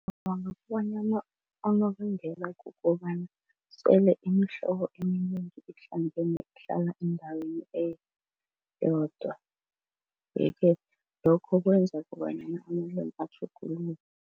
Ngicabanga bonyana kukobana sole imihlobo eminengi ihlangene ihlala endaweni eyodwa. Yeke lokho kwenza kobanyana amalimi atjhuguluke.